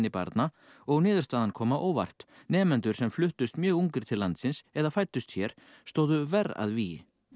barna og niðurstaðan kom á óvart nemendur sem fluttust mjög ungir til landsins eða fæddust hér stóðu verr að vígi